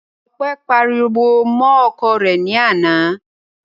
Ọpẹ́ pariwo mọ́ ọkọ rẹ̀ ní àná.